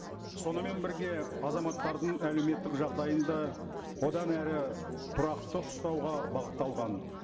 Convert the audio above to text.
сонымен бірге азаматтардың әлеуметтік жағдайын да одан әрі тұрақты ұстауға бағытталған